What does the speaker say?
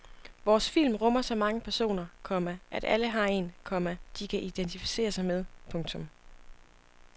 Vores film rummer så mange personer, komma at alle har en, komma de kan identificere sig med. punktum